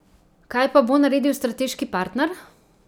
Kaj pa bo naredil strateški partner?